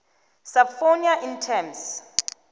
subpoena in terms